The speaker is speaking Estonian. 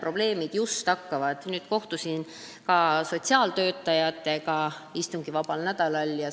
Kohtusin istungivabal nädalal sotsiaaltöötajatega.